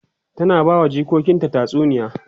ta na bawa jikokinta tatsuniya